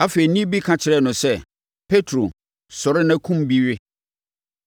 Afei, nne bi ka kyerɛɛ no sɛ, “Petro, sɔre na kum bi we!”